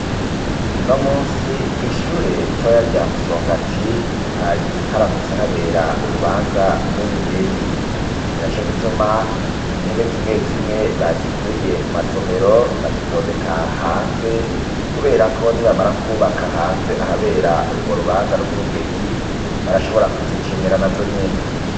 Uno munsi kw' ishure ritoya rya Musongati ,hari haramutse habera urubanza rw'ubugeni ninaco gituma intebe zimwe zimwe bazikuye mu masomero bazitondeka hanze kubera ko nibamara kubaka hanze ahabera urwo rubanza rw'ubugeni, barashobora kuzikenera na zo nyene